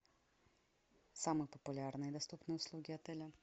самые популярные доступные услуги отеля